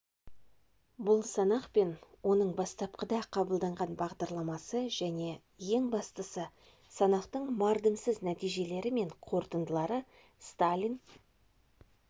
бұл санақ пен оның бастапқыда қабылданған бағдарламасы және ең бастысы санақтың мардымсыз нәтижелері мен қорытындылары сталин